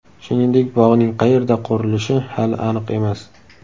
Shuningdek, bog‘ning qayerda qurilishi hali aniq emas.